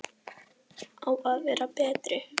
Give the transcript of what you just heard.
Á að vera betri.